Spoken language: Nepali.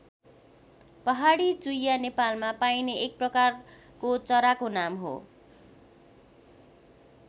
पहाडी चुइयाँ नेपालमा पाइने एक प्रकारको चराको नाम हो।